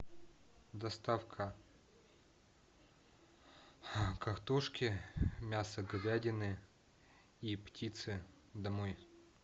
доставка картошки мяса говядины и птицы домой